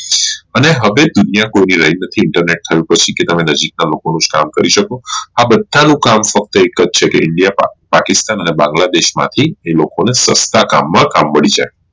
અને હવે દુનિયા કોઈ ની રહી નથી internet કહે છે હવે તમે નજીક ના લોકો નું જ કામ કરી શકો આ બધું કામ ફક્ત એક જ છે કે india માં પાકિસ્તાન અને બાંગ્લા દેશ માંથી આ લોકો ને સસ્તા કામ માં કામ મળી જાય